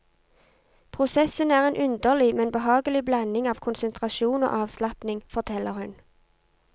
Prosessen er en underlig, men behagelig blanding av konsentrasjon og avslapning, forteller hun.